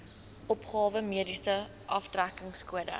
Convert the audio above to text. opgawe mediese aftrekkingskode